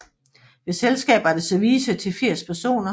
Ved selskaber er der service til 80 personer